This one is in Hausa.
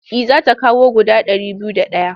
Eh za ta kawo guda ɗari biyu da ɗaya.